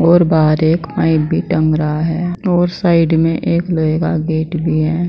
और बाहर एक पाइप भी टंग रहा है और साइड में एक लोहे गेट भी है